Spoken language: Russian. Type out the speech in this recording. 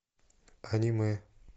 аниме